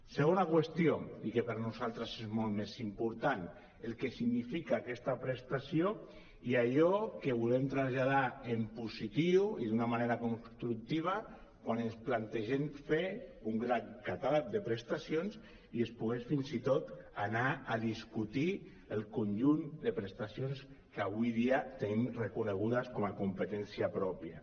segona qüestió i que per nosaltres és molt més important el que significa aquesta prestació i allò que volem traslladar en positiu i d’una manera constructiva quan ens plantegem fer un gran catàleg de prestacions i es pogués fins i tot anar a discutir el conjunt de prestacions que avui dia tenim reconegudes com a competència pròpia